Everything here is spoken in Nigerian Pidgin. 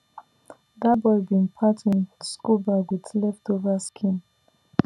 that boy bin patch him school bag with leftover skin